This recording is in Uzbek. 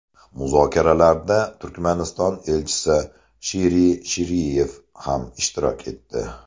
Muzokaralarda Turkmaniston Elchisi Shiri Shiriyev ham ishtirok etdi.